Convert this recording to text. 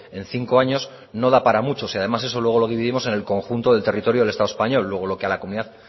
en cinco años no da para mucho si además eso luego lo dividimos en el conjunto del territorio del estado español luego lo que a la comunidad